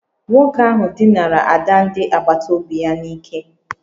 Nwoke ahụ dinara ada ndị agbata obi ya n'ike